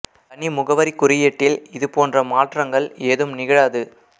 தனி முகவரிக் குறியீட்டில் இது போன்ற மாற்றங்கள் ஏதும் நிகழாது